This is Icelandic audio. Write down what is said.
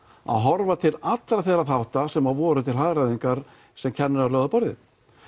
að horfa til allra þeirra þátta sem voru til hagræðingar sem kennarar lögðu á borðið